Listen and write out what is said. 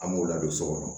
An b'u ladon so kɔnɔ